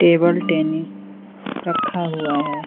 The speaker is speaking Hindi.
टेबल टेनिस रखा हुआ है।